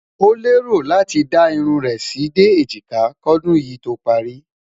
ọ leè rò láti dá irún rè sí dé ejika kò dùn yí tó pari